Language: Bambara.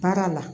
Baara la